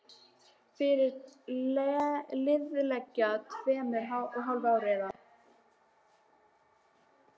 Fyrir liðlega tveimur og hálfu ári, eða